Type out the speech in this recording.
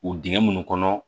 U dingɛ minnu kɔnɔ